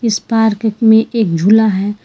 उस पार्क में एक झूला है।